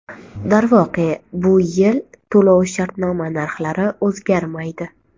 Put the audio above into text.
Darvoqe, bu yil to‘lov-shartnoma narxlari o‘zgarmaydi .